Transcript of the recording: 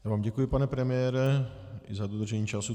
Já vám děkuji, pane premiére i za dodržení času.